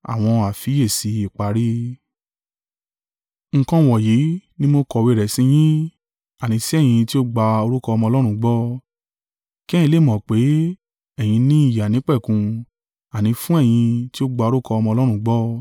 Nǹkan wọ̀nyí ni mo kọ̀wé rẹ̀ sí yín, àní sí ẹ̀yin tí ó gba orúkọ Ọmọ Ọlọ́run gbọ́; kí ẹ̀yin lè mọ̀ pé ẹ̀yin ní ìyè àìnípẹ̀kun, àní fún ẹ̀yin tí ó gba orúkọ Ọmọ Ọlọ́run gbọ́.